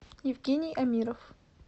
евгений амиров